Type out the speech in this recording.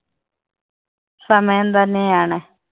സമയം തന്നെ ആണ്.